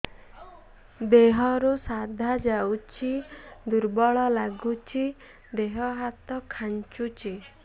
ଦେହରୁ ସାଧା ଯାଉଚି ଦୁର୍ବଳ ଲାଗୁଚି ଦେହ ହାତ ଖାନ୍ଚୁଚି